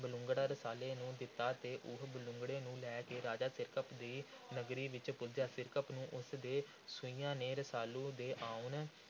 ਬਲੂੰਗੜਾ ਰਸਾਲੂ ਨੂੰ ਦਿੱਤਾ ਅਤੇ ਉਹ ਬਲੂੰਗੜੇ ਨੂੰ ਲੈ ਕੇ ਰਾਜਾ ਸਿਰਕੱਪ ਦੀ ਨਗਰੀ ਵਿਚ ਪੁੱਜਾ। ਸਿਰਕੱਪ ਨੂੰ ਉਸ ਦੇ ਸੂਹੀਆਂ ਨੇ ਰਸਾਲੂ ਦੇ ਆਉਣ